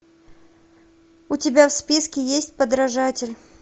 у тебя в списке есть подражатель